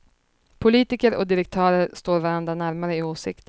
Politiker och direktörer står varandra närmare i åsikter.